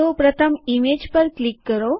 તેથી પ્રથમ ઇમેજ પર ક્લિક કરો